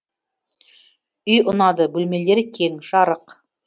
үй ұнады бөлмелері кең жарық